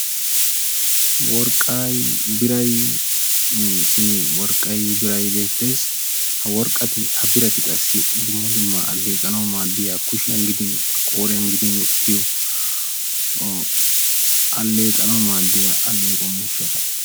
Worqqay, biray simi worqqay biray beettees. Ha worqqati ha birati qassi dumma dumma alleeqanawu maaddiya kushiyan gidin qooriyan gidin wottiyoo alleeqanawu maddiya alleeqo miishshata.